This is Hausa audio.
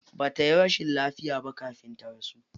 Ba tayi rashin lafiya ba kafin ya rasu.